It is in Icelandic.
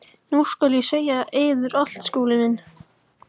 Nú skal ég segja yður allt, Skúli minn.